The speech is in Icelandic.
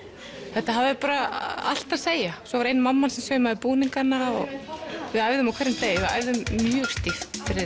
þetta hafði bara allt að segja svo var ein mamman sem saumaði búningana og við æfðum á hverjum degi við æfðum mjög stíft fyrir